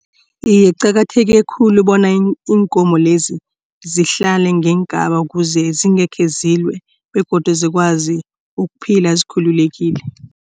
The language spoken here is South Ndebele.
Iye, kuqakatheke khulu bona iinkomo lezi zihlale ngeengaba kuze zingekhe zilwe begodu zikwazi ukuphila zikhululekile.